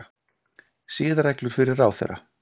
Siðareglur fyrir ráðherra